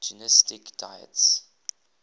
gnostic deities